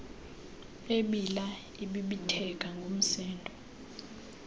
ebila ebibitheka ngumsindo